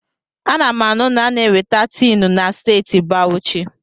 Ana m anu na a na-enweta tiinụ na Steeti Bawuchi.